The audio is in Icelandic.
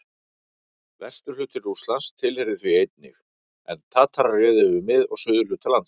Vesturhluti Rússlands tilheyrði því einnig, en Tatarar réðu yfir mið- og suðurhluta landsins.